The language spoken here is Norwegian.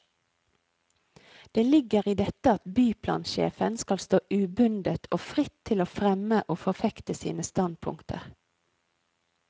Det ligger i dette at byplansjefen skal stå ubundet og fritt til å fremme og forfekte sine standpunkter.